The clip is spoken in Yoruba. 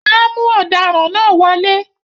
wọn á mú “ọdaràn” náà wọlé